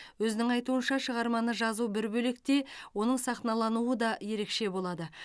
өзінің айтуынша шығарманы жазу бір бөлек те оның сахналануы да ерекше болады